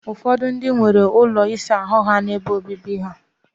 Ufodu ndi nworo ulo isa ahu ha n'azu ulo obibi ha.